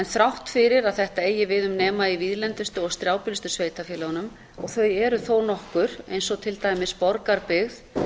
þrátt fyrir að þetta eigi við um nema í víðlendustu og strjálbýlustu sveitarfélögunum og þau eru þó nokkur eins og til dæmis borgarbyggð